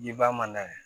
Jiba mana kɛ